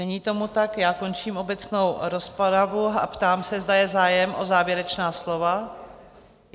Není tomu tak, končím obecnou rozpravu a ptám se, zda je zájem o závěrečná slova?